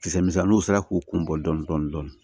Kisɛ misɛnninw sera k'u kun bɔ dɔɔnin dɔɔnin